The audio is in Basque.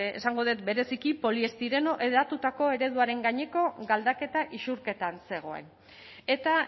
esango dut bereziki poliestireno hedatutako ereduaren gaineko galdaketa isurketan zegoen eta